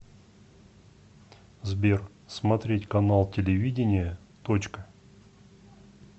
сбер смотреть канал телевидения точка